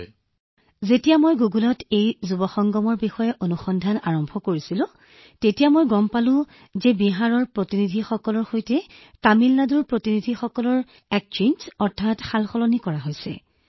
বিশাখা জীঃ যেতিয়া মই গুগলত এই যুৱ সংগমৰ বিষয়ে অনুসন্ধান আৰম্ভ কৰিছিলো মই গম পাইছিলো যে বিহাৰৰ প্ৰতিনিধিসকলৰ সৈতে তামিলনাডুৰ প্ৰতিনিধিসকলৰ সৈতে বিনিময় কৰা হৈছে